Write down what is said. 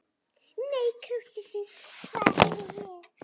Nei, krúttið þitt, svaraði ég.